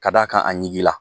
Ka d'a kan a ɲigin la.